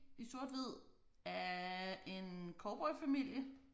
I sort hvid af en cowboyfamilie